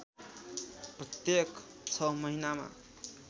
प्रत्येक ६ महिनामा